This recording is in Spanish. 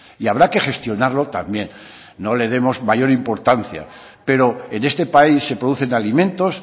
y habrá que gestionarlo también no le demos mayor importancia pero en este país se producen alimentos